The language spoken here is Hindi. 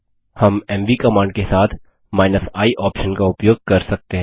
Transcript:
हम एमवी कमांड के साथ i ऑप्शन का उपयोग कर सकते हैं